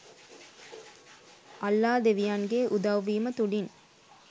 අල්ලා ‍දෙවියන් ගේ උදව්වීම තුලින්